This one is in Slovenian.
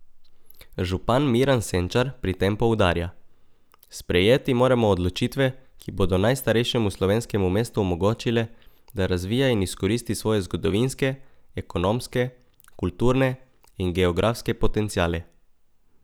Župan Miran Senčar pri tem poudarja: "Sprejeti moramo odločitve, ki bodo najstarejšemu slovenskem mestu omogočile, da razvija in izkoristi svoje zgodovinske, ekonomske, kulturne in geografske potenciale.